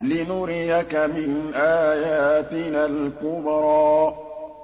لِنُرِيَكَ مِنْ آيَاتِنَا الْكُبْرَى